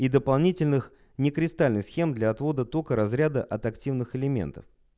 и дополнительных не кристальных схем для отвода тока разряда от активных элементов